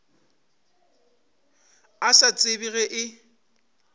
a sa tsebe ge e